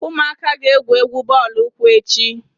Ụmụaka ga- egwú egwu bọọlụ ụkwụ echi.